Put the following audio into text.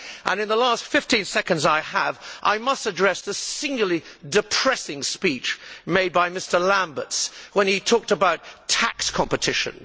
In the last 15 seconds I have, I must address the singularly depressing speech made by Mr Lamberts when he talked about tax competition.